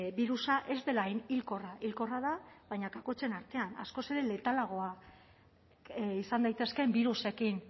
birusa ez dela hain hilkorra hilkorra da baina kakotxen artean askoz ere letalagoa izan daitezkeen birusekin